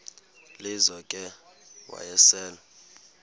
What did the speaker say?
lizo ke wayesel